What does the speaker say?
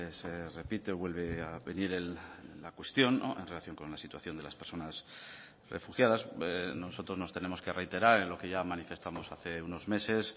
se repite vuelve a venir la cuestión en relación con la situación de las personas refugiadas nosotros nos tenemos que reiterar en lo que ya manifestamos hace unos meses